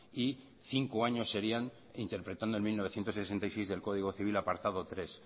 y cinco años serían interpretando el mil novecientos sesenta y seis del código civil apartado tres